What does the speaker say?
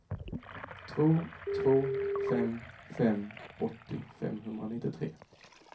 två två fem fem åttio femhundranittiotre